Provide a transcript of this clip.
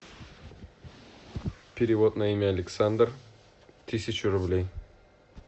перевод на имя александр тысячу рублей